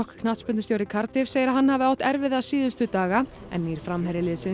knattspyrnustjóri Cardiff segir að hann hafi átt erfitt síðustu daga en nýr framherji liðsins